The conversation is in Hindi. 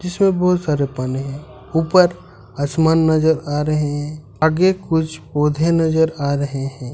इसमें बहुत सारे पानी है ऊपर आसमान नजर आ रहे है आगे कुछ पौधे नजर आ रहे है।